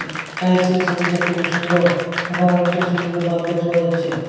টাইলসের ছবিটা খুবই সুন্দর এবং অনেকটা ছোট ছোট বাল্প দেখতে পাওয়া যাচ্ছে।